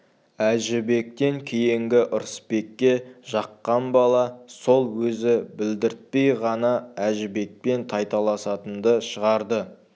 әжібектен кейінгі ырысбекке жаққан бала сол өзі білдіртпей ғана әжібекпен тайталасатынды шығарды